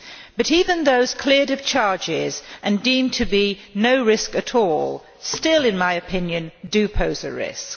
But even those cleared of charges and deemed to be no risk at all still, in my opinion, pose a risk.